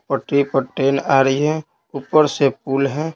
पटरी पर ट्रेन आ रही है ऊपर से पुल है।